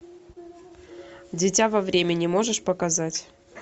дитя во времени можешь показать